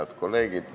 Head kolleegid!